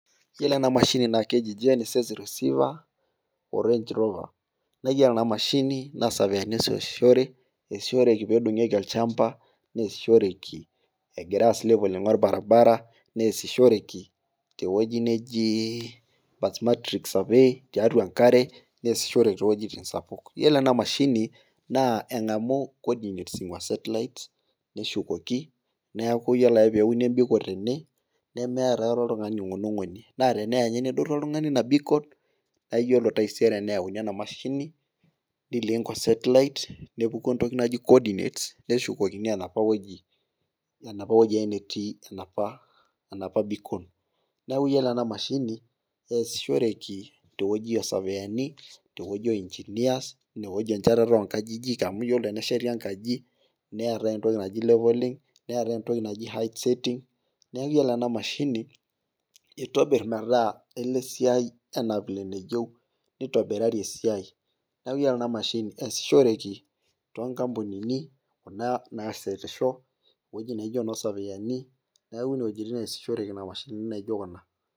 iyiolo ena mashin naa keji gnss receiver o range rover iyioo oshi ena mashini naa isopiyani oshi loosishore, eesishoreki pee edungieki olchampa, neesishore egirae aas levelling olbaribara, neesishoreki tewueji neji birth matrix survey neesishoreki too wuejitin sapukin. iyiolo ena, mashini naa eng'amu, cordinating satellite neshukoki neeku iyiolo ake pee euni ebikol tene, nemeeta aikata oltungani oing'unying'uny naa teneya ninye nedotu oltung'ani ena bikol nayauni enamashi nilink osetlit nepuku entoki naji koodinet neshukokini enapa weji ake netii enapa bikol neeku iyiolo enamashini pee esishoreki teweji oosupiyani ,teweji oo ingineer , neshietieki engaji neetae entoki naaji leveling, height setting, neeku iyiolo enamashi itobir meeta kelo esiai aitobiraki enaa vile neyieu neeku iyiolo enamashini esishoreki toonkampunini, naashetisho eweji naijo enositima neeku iwejitin naijo kuna.